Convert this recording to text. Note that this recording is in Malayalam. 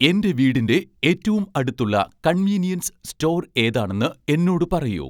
എൻ്റെ വീടിൻ്റെ ഏറ്റവും അടുത്തുള്ള കൺവീനിയൻസ് സ്റ്റോർ ഏതാണെന്ന് എന്നോട് പറയൂ